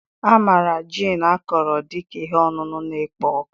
A maara gin akọrọ dị ka ihe ọṅụṅụ na-ekpo ọkụ